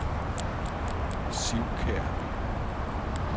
Sivkær